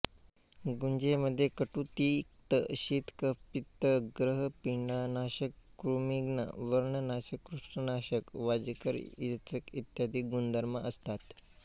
गुंजेमध्ये कटु तिक्त शीत कफ पित्त ग्रहपीडानाशक कृमिघ्न व्रणनाशक कुष्ठनाशक वाजीकर रेचक इ गुणधर्म असतात